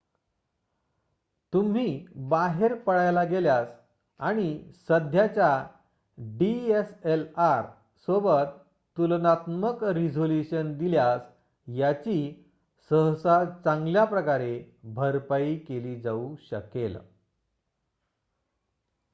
तुम्ही बाहेर पळायला गेल्यास आणि सध्याच्या dslr/डीएसएलआर सोबत तुलनात्मक रिझोल्यूशन दिल्यास याची सहसा चांगल्याप्रकारे भरपाई केली जाऊ शकेल